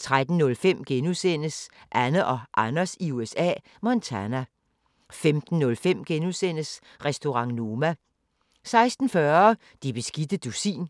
13:05: Anne og Anders i USA – Montana * 15:05: Restaurant Noma * 16:40: Det beskidte dusin